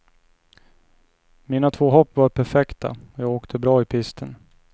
Mina två hopp var perfekta och jag åkte bra i pisten.